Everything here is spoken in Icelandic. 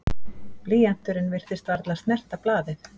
Blýanturinn virtist varla snerta blaðið.